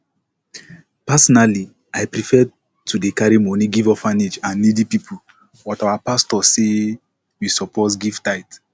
personally i prefer to dey carry money give orphanage and needy people but our pastor say we suppose give tithe